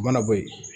U mana bɔ yen